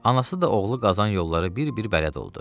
Anası da oğlu qazan yolları bir-bir bələd oldu.